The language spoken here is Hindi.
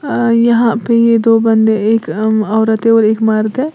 अ यहां पे ये दो बंदे एक अ औरत है और एक मर्द है।